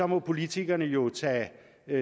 må politikerne jo tage